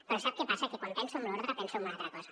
però sap què passa que quan penso en l’ordre penso en una altra cosa